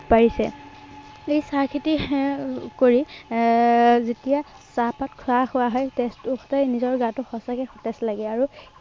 পাৰিছে। আহ এই চাহ খেতি এৰ কৰি এৰ যেতিয়া চাহপাত খোৱা হোৱা হয়, তেতিয়া নিজৰ গাতো সঁচাকে সতেজ লাগে। আৰু